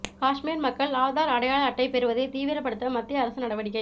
காஷ்மீர் மக்கள் ஆதார் அடையாள அட்டை பெறுவதை தீவிரப்படுத்த மத்திய அரசு நடவடிக்கை